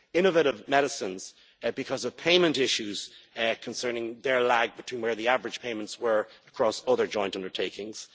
year Innovative Medicines, because of payment issues concerning their lag between where the average payments were across other joint undertakings.